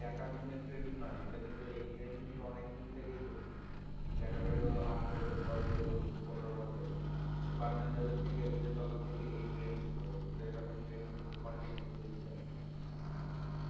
এক আধ দিনের ট্রেন্ড নয় এটা কিন্তু এই ট্রেন্ড কিন্তু অনেক দিন থেকে চলছে দেখা গেল আট বছর দশ বছর পনের বছর সুপার ম্যান যবে থেকে এসেছে তবে থেকে এই ট্রেন্ড শুরু হয়েছে তো এইরকম ট্রেন্ড কিন্তু continue চলছে